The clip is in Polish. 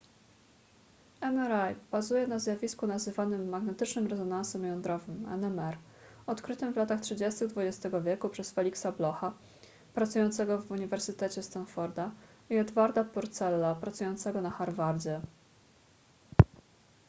mri bazuje na zjawisku nazywanym magnetycznym rezonansem jądrowym nmr odkrytym w latach 30. xx wieku przez felixa blocha pracującego w uniwersytecie stanforda i edwarda purcella pracującego na harvardzie